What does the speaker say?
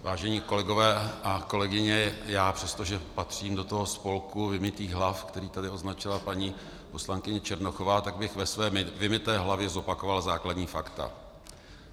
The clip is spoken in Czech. Vážení kolegové a kolegyně, já přestože patřím do toho spolku vymytých hlav, který tady označila paní poslankyně Černochová, tak bych ve svém vymyté hlavě zopakoval základní fakta.